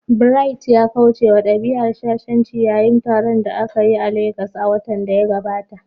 Bright ya kauce wa dabi'ar shashanci yayin taron da aka yi a Legas a watan da ya gabata.